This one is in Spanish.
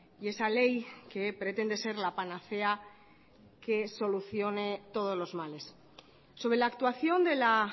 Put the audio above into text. y esa ley que pretende ser la panacea que solucione todos los males sobre la actuación de la